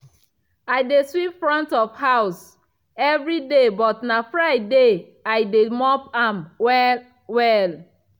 i dey sweep front of house evriday but na friday i dey mop am well-well.